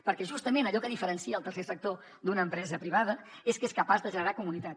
perquè justament allò que diferencia el tercer sector d’una empresa privada és que és capaç de generar comunitat